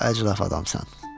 Çox əclaf adamsan.